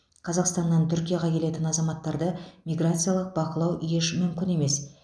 қазақстаннан түркияға келетін азаматтарды миграциялық бақылау еш мүмкін емес